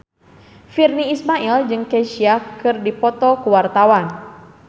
Virnie Ismail jeung Kesha keur dipoto ku wartawan